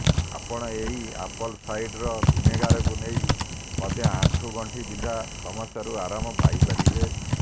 ଆପଣ ଏହି apple cider ଭିନେଗାରକୁ ନେଇ ମଧ୍ୟ ଆଣ୍ଠୁ ଗଣ୍ଠି ବିନ୍ଧା ସମସ୍ୟାରୁ ଆରାମ ପାଇ ପାରିବେ